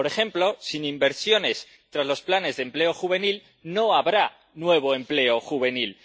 Por ejemplo, sin inversiones, tras los planes de empleo juvenil, no habrá nuevo empleo juvenil.